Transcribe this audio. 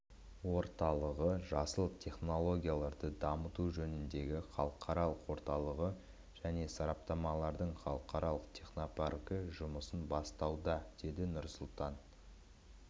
орталығы жасыл технологияларды дамыту жөніндегі халықаралық орталығы және стартаптардың халықаралық технопаркі жұмысын бастауда деді нұрсұлтан